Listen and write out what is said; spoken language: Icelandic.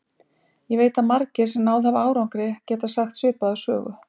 Ég veit að margir, sem náð hafa árangri, geta sagt svipaða sögu.